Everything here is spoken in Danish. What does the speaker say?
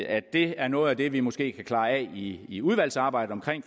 at det er noget af det vi måske kan klare af i i udvalgsarbejdet